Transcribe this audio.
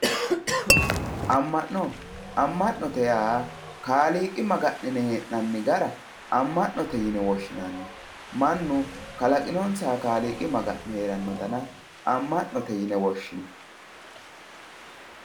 amma'no amma'note yaa kaaliqi maga'nine hee'nanni gara amma'note yine woshshinanni mannu kalaqinonsaha kaaliqi maga'ne heeranno dana amma'note yine woshshinay